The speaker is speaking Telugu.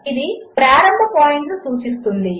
ఇదిప్రారంభపాయింట్నుసూచిస్తుంది